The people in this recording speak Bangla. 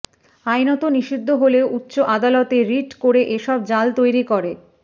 আইনত নিষিদ্ধ হলেও উচ্চ আদালতে রিট করে এসব জাল তৈরি করে